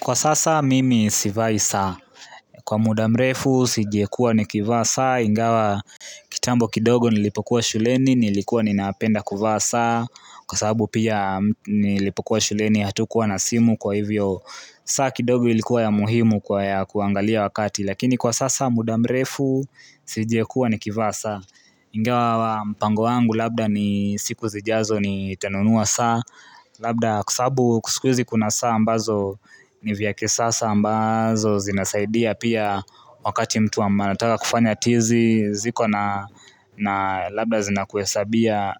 Kwa sasa mimi sivai saa. Kwa mudamrefu sijekuwa ni kiva saa ingawa kitambo kidogo nilipokuwa shuleni nilikuwa ninapenda kivaa saa kwa sababu pia nilipokuwa shuleni hatukuwa na simu kwa hivyo saa kidogo ilikuwa ya muhimu kwa ya kuangalia wakati lakini kwa sasa mudamrefu sijiekuwa ni kivaa saa ingawa mpango wangu labda ni siku zijazo ni tanunua saa. Labda kwa sababu kusikwizi kuna saa ambazo ni vya kisasa ambazo zinasaidia pia wakati mtu anataka kufanya tizi ziko na labda zina kuhesabia